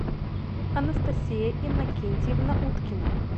анастасия иннокентьевна уткина